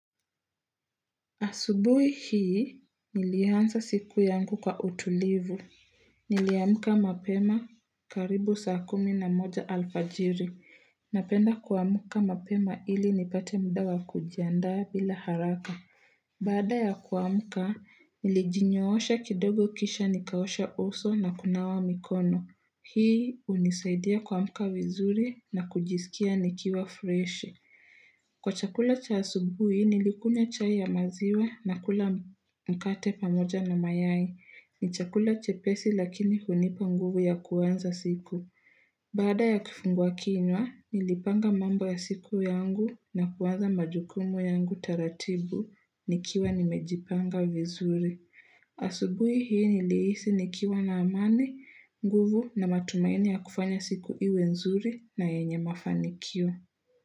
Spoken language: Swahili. Asubuhi hii, nilianza siku yangu kwa utulivu. Niliamka mapema karibu saa kumi na moja alfajiri. Napenda kuamka mapema ili nipate mda wa kujiandaa bila haraka. Baada ya kuamka, nilijinyoosha kidogo kisha nikaosha uso na kunawa mikono. Hii unisaidia kuamka vizuri na kujisikia nikiwa freshi. Kwa chakula cha asubuhi, nilikunywa chai ya maziwa na kula mkate pamoja na mayai. Ni chakula chepesi lakini hunipa nguvu ya kuanza siku. Baada ya kifungua kinywa, nilipanga mambo ya siku yangu na kuanza majukumu yangu taratibu, nikiwa nimejipanga vizuri. Asubuhi hii nilihisi nikiwa na amani, nguvu na matumaini ya kufanya siku iwe nzuri na yenye mafanikio.